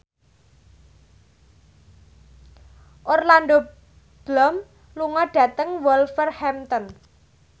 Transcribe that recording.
Orlando Bloom lunga dhateng Wolverhampton